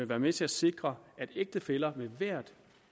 være med til at sikre at ægtefæller med hvert